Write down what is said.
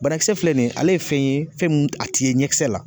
Banakisɛ filɛ nin ye, ale ye fɛn ye fɛn min a t'i ye ɲɛkisɛ la.